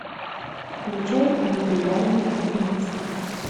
включай легендарный убийца